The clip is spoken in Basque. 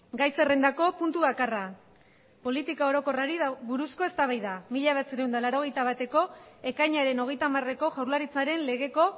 gai zerrendako puntu bakarra politika orokorrari buruzko eztabaida mila bederatziehun eta laurogeita bateko ekainaren hogeita hamareko jaurlaritzaren legeko